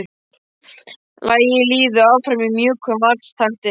Lagið líður áfram í mjúkum valstakti.